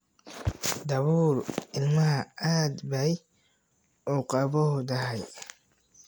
Dabool ilmaha, aad bay uu qabowdahay.